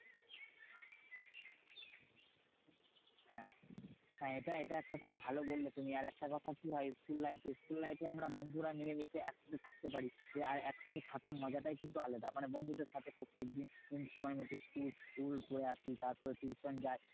হ্যাঁ হ্যাঁ এটা এটা একটা খুব ভালো বললে তুমি। আর একটা কথা কি হয়? school life school life এ আমরা বন্ধুরা মিলেমিশে একসাথে থাকতে পারি। আর একসাথে থাকার মজাটাই কিন্তু আলাদা। মানে বন্ধুদের সাথে প্রত্যেকদিন সময়মতো school পরে আসি তারপরে tuition যাই।